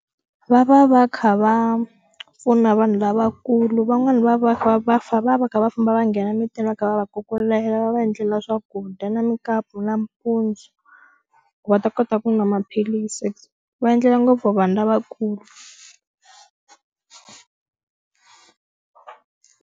Va va va kha va pfuna vanhu lavakulu van'wani va va va va va kha va famba va nghena mintini va kha va va kukulela va va endlela swakudya na mukapu nampundzu ku va ta kota ku nwa maphilisi va endlela ngopfu vanhu lavakulu.